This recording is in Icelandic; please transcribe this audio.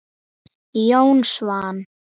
Verður það ekki skrítið?